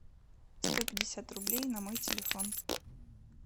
сто пятьдесят рублей на мой телефон